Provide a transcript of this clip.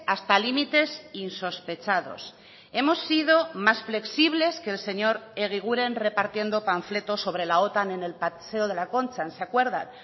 hasta límites insospechados hemos sido más flexibles que el señor eguiguren repartiendo panfletos sobre la otan en el paseo de la concha se acuerdan